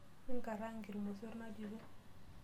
Mingaraang' irmosor natito.